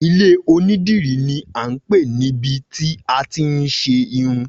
Ilé onídìrí ni a ń pè ibi tí àti ń ṣe irun